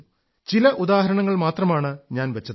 ഇത് ചില ഉദാഹരണങ്ങൾ മാത്രമാണ് ഞാൻ വച്ചത്